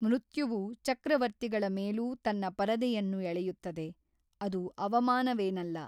ಮೃತ್ಯುವು ಚಕ್ರವರ್ತಿಗಳ ಮೇಲೂ ತನ್ನ ಪರದೆಯನ್ನು ಎಳೆಯುತ್ತದೆ; ಅದು ಅವಮಾನವೇನಲ್ಲ